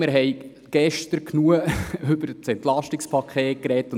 Wir haben gestern genug über das Entlastungspaket gesprochen.